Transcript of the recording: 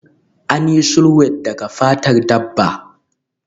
An yi sulwed daga fatar dabba